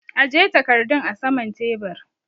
Aje takardun a saman tebur!